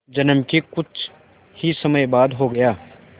जन्म के कुछ ही समय बाद हो गया